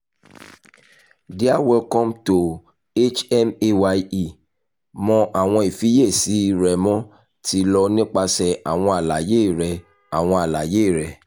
dearwelcome to hmaye mọ awọn ifiyesi rẹmo ti lọ nipasẹ awọn alaye rẹ awọn alaye rẹ